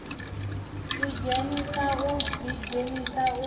idzhenisa u ḓidzhenisa uho hu